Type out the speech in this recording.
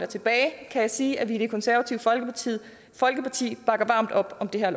tilbage sige at vi i det konservative folkeparti folkeparti bakker varmt op om det her